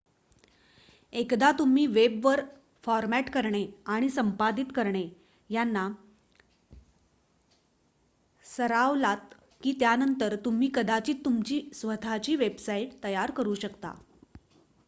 एकदा तुम्ही वेबवर फॉरमॅट करणे आणि संपादित करणे यांना सरावलात की त्यानंतर तुम्ही कदाचित तुमची स्वतःची वेबसाइट तयार करू शकता